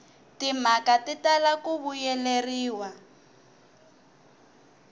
timhaka ti tala ku vuyeleriwa